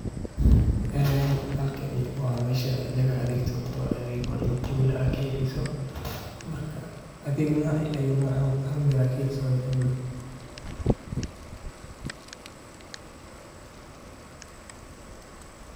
Suuqa weyn ee magaalada dhexdiisa ku yaalla waa meel aad u ballaaran oo laga helo noocyo kala duwan oo badeecooyin ah oo ay dadka deegaanka si fudud ugu iibsan karaan baahiyahooda maalinlaha ah. Marka qofka uu soo galo suuqaas, wuxuu arki karaa qaybaha kala duwan sida raashinka, khudaarta, hilibka, iyo caanaha, kuwaas oo si habaysan.